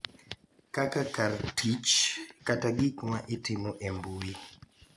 Kaka kar tich kata gik ma itimo e mbui.